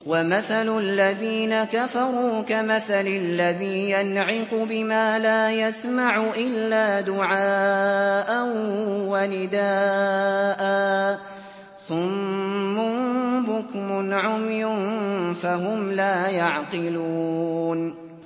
وَمَثَلُ الَّذِينَ كَفَرُوا كَمَثَلِ الَّذِي يَنْعِقُ بِمَا لَا يَسْمَعُ إِلَّا دُعَاءً وَنِدَاءً ۚ صُمٌّ بُكْمٌ عُمْيٌ فَهُمْ لَا يَعْقِلُونَ